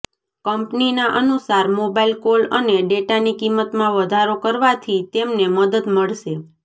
કંપનીના અનુસાર mobile call અને ડેટાની કિંમતમાં વધારો કરવાથી તેમને મદદ મળશે